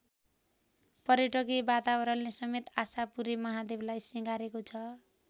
पर्यटकीय वातावरणले समेत आशापुरे महादेवलाई सिंगारेको छ।